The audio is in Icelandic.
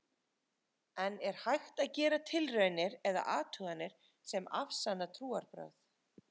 en er hægt að gera tilraunir eða athuganir sem afsanna trúarbrögð